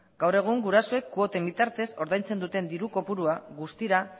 gaur egun gurasoek kuoten bitartez ordaintzen duten diru kopurua guztira